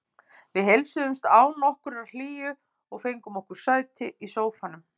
Við heilsuðumst án nokkurrar hlýju og fengum okkur sæti í sófanum.